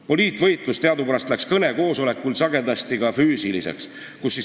" Poliitvõitlus läks teadupärast kõnekoosolekuil sagedasti ka füüsiliseks kätte.